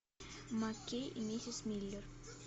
маккейб и миссис миллер